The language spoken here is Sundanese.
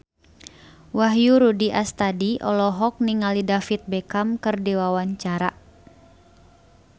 Wahyu Rudi Astadi olohok ningali David Beckham keur diwawancara